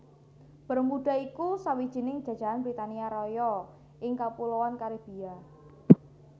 Bermuda iku sawijining jajahan Britania Raya ing kapuloan Karibia